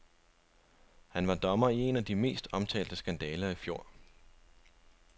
Han var dommer i en af de mest omtalte skandaler i fjor.